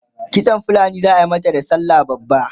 kitsan fulani zaa mata da sallah babba?